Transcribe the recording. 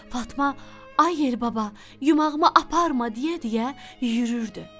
Fatma: "Ay Yel baba, yumağımı aparma!" deyə-deyə yürürdü.